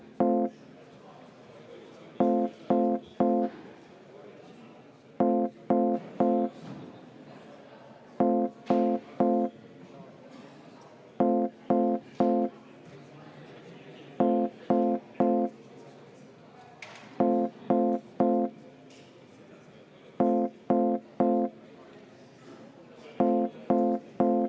Ma olen päri, ka mina märkasin seda, olin juba kellukest helistamas, aga siis nad jällegi lõpetasid.